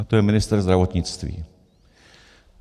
A to je ministr zdravotnictví.